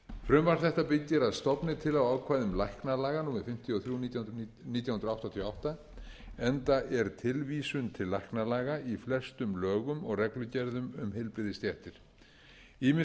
frumvarp þetta byggir að stofni til á ákvæðum læknalaga númer fimmtíu og þrjú nítján hundruð áttatíu og átta enda er tilvísun til læknalaga í flestum lögum og reglugerðum um heilbrigðisstéttir ýmis